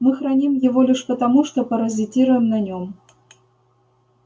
мы храним его лишь потому что паразитируем на нем